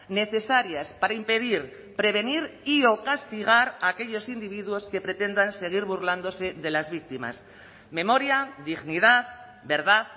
necesarias para impedir prevenir y o castigar a aquellos individuos que pretendan seguir burlándose de las víctimas memoria dignidad verdad